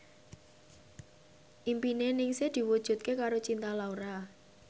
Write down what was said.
impine Ningsih diwujudke karo Cinta Laura